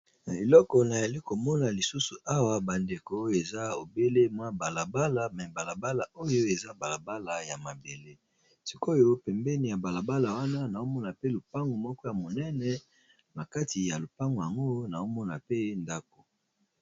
Eloko nayali komona lisusu awa bandeko oyo eza ebele mwa balabala me balabala oyo eza balabala ya mabele sikoyo pembeni ya balabala wana naomona pe lopango moko ya monene na kati ya lopango yango naomona pe ndako.